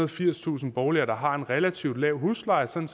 og firstusind boliger der har en relativt lav husleje sådan